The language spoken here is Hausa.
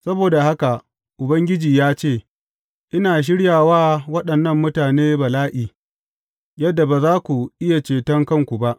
Saboda haka, Ubangiji ya ce, Ina shirya wa waɗannan mutane bala’i, yadda ba za ku iya ceton kanku ba.